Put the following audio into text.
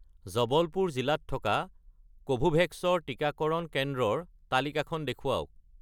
জবলপুৰ জিলাত থকা কোভোভেক্স ৰ টিকাকৰণ কেন্দ্ৰৰ তালিকাখন দেখুৱাওক